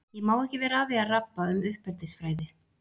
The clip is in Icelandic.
Ég má ekki vera að því að rabba um uppeldisfræði.